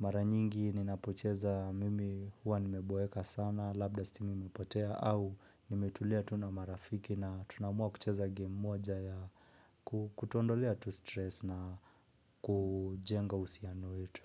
Mara nyingi ninapocheza mimi huwa nimeboeka sana, labda stima imepotea au nimetulia tu na marafiki na tunaamua kucheza game moja ya kutuondolea tu stress na kujenga uhusiano wetu.